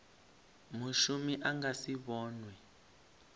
mushumi a nga si vhonwe